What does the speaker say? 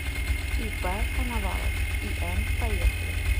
ип коновалов ин поехали